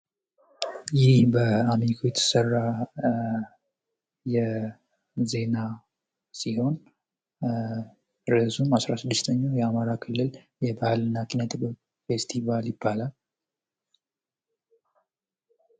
ይህ በአሚኮ የተሰራ ዜና ሲሆን ርእሱም 16ኛው የአማራ ክልል የባህል እና ኪነጥበብ ፌስቲቫል ይባላል ።